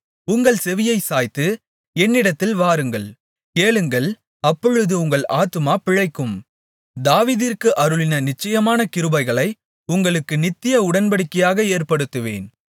உங்கள் செவியைச் சாய்த்து என்னிடத்தில் வாருங்கள் கேளுங்கள் அப்பொழுது உங்கள் ஆத்துமா பிழைக்கும் தாவீதிற்கு அருளின நிச்சயமான கிருபைகளை உங்களுக்கு நித்திய உடன்படிக்கையாக ஏற்படுத்துவேன்